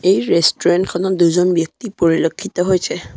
এই ৰেষ্টুৰেণ্ট খনত দুজন ব্যক্তি পৰিলেক্ষিত হৈছে।